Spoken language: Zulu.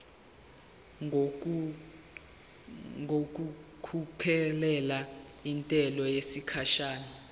ngokukhokhela intela yesikhashana